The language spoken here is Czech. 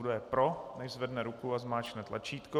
Kdo je pro, nechť zvedne ruku a zmáčkne tlačítko.